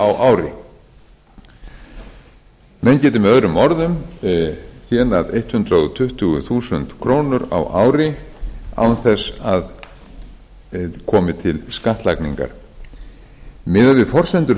á ári menn geti möo þénað hundrað tuttugu þúsund ári ári án þess að komi til skattlagningar miðað við forsendur